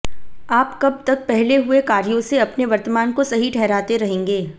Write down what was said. आप कब तक पहले हुए कार्यो से अपने वर्तमान को सही ठहराते रहेंगे